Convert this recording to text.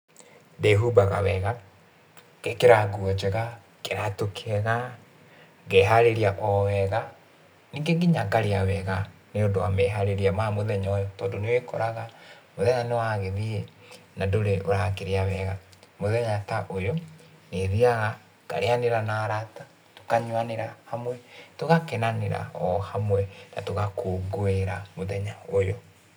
Ndĩhumbaga wega, ngekĩra nguo njega, kĩratũ kĩega, ngeharĩria o wega, ningĩ nginya ngarĩa wega nĩ ũndũ wa meharĩria ma mũthenya ũyũ tondũ nĩ wĩkoraga, mũthenya nĩ wagĩthiĩ, na ndũrĩ ũrakĩrĩa wega. Mũthenya ta ũyũ, nĩ thiaga ngarĩanĩra na arata, tũkanyuanĩra hamwe, tũgakenanĩra o hamwe, na tũgakũngũĩra mũthenya ũyũ.